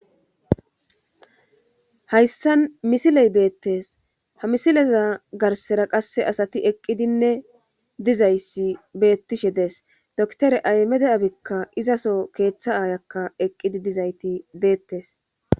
Hayssa misiley beettes ha misileza garsera qasse asati eqqidinne dizayssi beettishe dees doktore aymede abikka izaso keeththa aayakka eqqidi dizayti deettes.